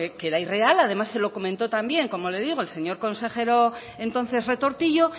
que era irreal además se lo comentó también como le digo el señor consejero entonces retortillo